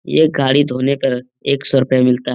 ये गाड़ी धोने का एक सौ रुपया मिलता है।